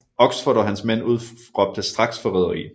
Oxford og hans mænd udråbte straks forræderi